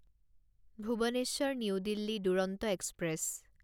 Bhubaneswar New Delhi Duronto express